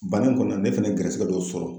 Banni kɔnɔna ,ne fana ye garisɛgɛ dɔ sɔrɔ